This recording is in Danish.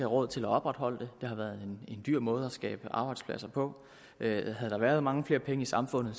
råd til at opretholde det det har været en dyr måde at skabe arbejdspladser på havde der været mange flere penge i samfundet